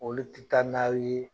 Olu t'i ta n'aw ye